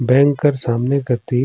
बैंक कर सामने कति--